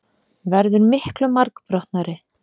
Verður miklu margbrotnari.